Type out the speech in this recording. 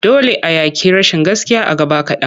Dole a yaƙi rashin gaskiya a gaba kaɗan.